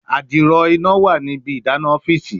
adiro ina wa ni ibi idana ọfiisi